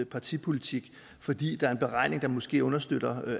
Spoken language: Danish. partipolitik fordi der er en beregning der måske understøtter